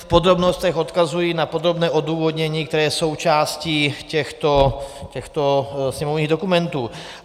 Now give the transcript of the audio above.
V podrobnostech odkazuji na podrobné odůvodnění, které je součástí těchto sněmovních dokumentů.